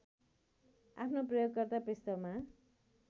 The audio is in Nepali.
आफ्नो प्रयोगकर्ता पृष्ठमा